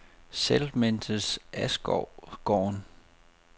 Settlementet Askovgården